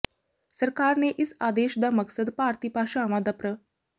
ਸਰਕਾਰ ਨੇ ਇਸ ਆਦੇਸ਼ ਦਾ ਮਕਸਦ ਭਾਰਤੀ ਭਾਸ਼ਾਵਾਂ ਦਾ ਪ੍ਰ